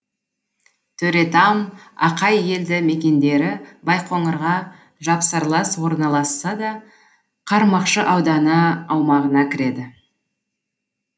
төретам ақай елді мекендері байқоңырға жапсарлас орналасса да қармақшы ауданы аумағына кіреді